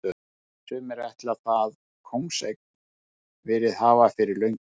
Sumir ætla það kóngseign verið hafa fyrir löngu.